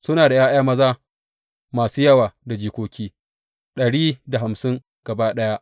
Suna da ’ya’ya maza masu yawa da jikoki, dari da hamsin gaba ɗaya.